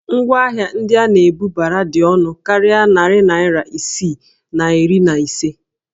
Ngwaahịa ndị a na-ebubara dị ọnụ karịa narị naira isii na iri na ise